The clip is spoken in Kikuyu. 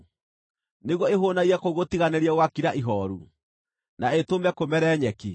nĩguo ĩhũũnagie kũu gũtiganĩrie gũgakira ihooru, na ĩtũme kũmere nyeki?